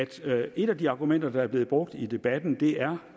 til at et af de argumenter der er blevet brugt i debatten det er